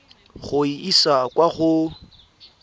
go e isa kwa go